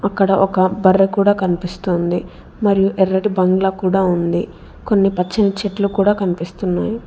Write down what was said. అక్కడ ఒక బర్రె కూడా కనిపిస్తుంది మరియు ఎర్రటి బంగ్లా కూడా ఉంది కొన్ని పచ్చని చెట్లు కూడా కనిపిస్తున్నాయి.